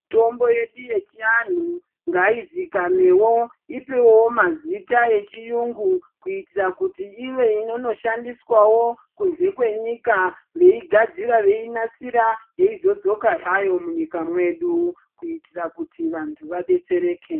Mitombo yedu yechiantu ngaizikanewo ipuwewo mazita echiyungu kuitira kuti ive inonoshandiswawo kunze kwenyika veinasira yeizodzoka hayo mwunyika mwedu kuitira kuti vantu vadetsereke.